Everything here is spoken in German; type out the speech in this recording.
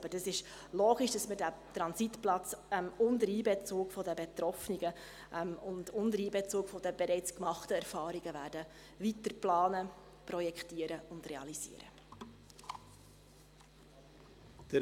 Denn es ist logisch, dass wir diesen Transitplatz unter Einbezug der Betroffenen und unter Einbezug der bereits gemachten Erfahrungen weiter planen, projektieren und realisieren werden.